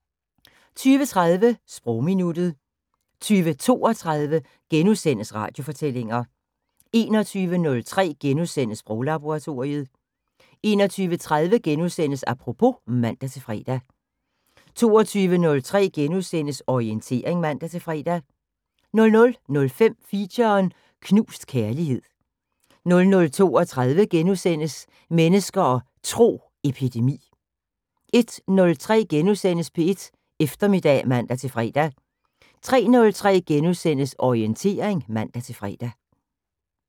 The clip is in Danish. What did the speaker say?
20:30: Sprogminuttet 20:32: Radiofortællinger * 21:03: Sproglaboratoriet * 21:30: Apropos *(man-fre) 22:03: Orientering *(man-fre) 00:05: Feature: Knust kærlighed 00:32: Mennesker og Tro: Epidemi * 01:03: P1 Eftermiddag *(man-fre) 03:03: Orientering *(man-fre)